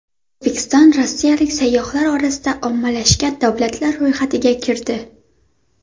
O‘zbekiston rossiyalik sayyohlar orasida ommalashgan davlatlar ro‘yxatiga kirdi.